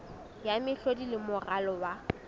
ya mehlodi le moralo wa